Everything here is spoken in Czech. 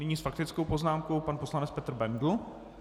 Nyní s faktickou poznámkou pan poslanec Petr Bendl.